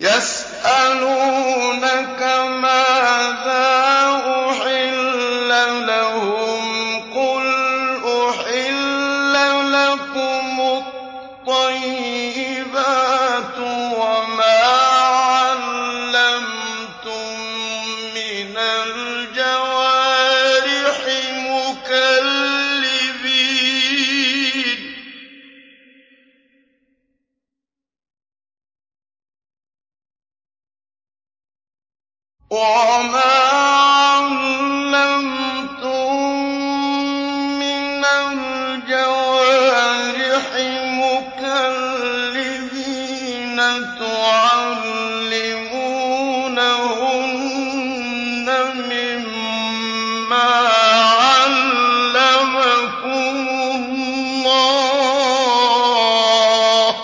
يَسْأَلُونَكَ مَاذَا أُحِلَّ لَهُمْ ۖ قُلْ أُحِلَّ لَكُمُ الطَّيِّبَاتُ ۙ وَمَا عَلَّمْتُم مِّنَ الْجَوَارِحِ مُكَلِّبِينَ تُعَلِّمُونَهُنَّ مِمَّا عَلَّمَكُمُ اللَّهُ ۖ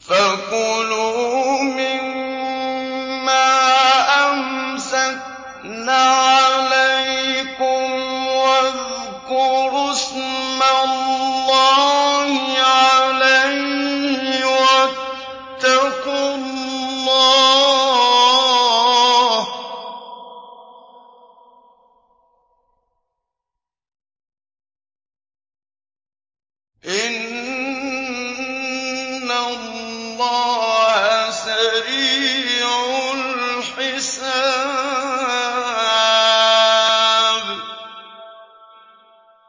فَكُلُوا مِمَّا أَمْسَكْنَ عَلَيْكُمْ وَاذْكُرُوا اسْمَ اللَّهِ عَلَيْهِ ۖ وَاتَّقُوا اللَّهَ ۚ إِنَّ اللَّهَ سَرِيعُ الْحِسَابِ